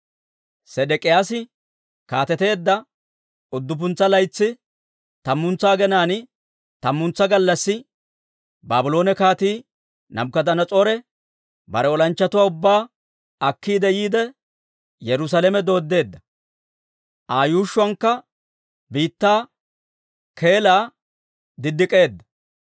Sedek'iyaasi kaateteedda udduppuntsa laytsi, tammantsa aginaan, tammantsa gallassi, Baabloone Kaatii Naabukadanas'oore bare olanchchatuwaa ubbaa akkiide yiide, Yerusaalame dooddeedda. Aa yuushshuwankka biittaa keelaa direedda.